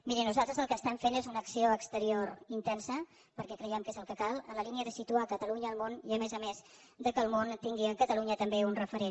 miri nosaltres el que estem fent és una acció exterior intensa perquè creiem que és el que cal en la línia de situar catalunya al món i a més a més que el món tingui en catalunya també un referent